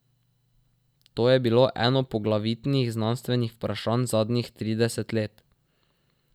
To je bilo eno poglavitnih znanstvenih vprašanj zadnjih trideset let.